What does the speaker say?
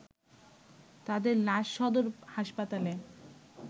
তাদের লাশ সদর হাসপাতালে